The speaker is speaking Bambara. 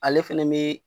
Ale fɛnɛ be